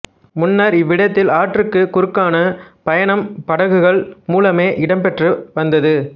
முன்னர் இவ்விடத்தில் ஆற்றுக்குக் குறுக்கான பயணம் படகுகள் மூலமே இடம்பெற்றுவந்தது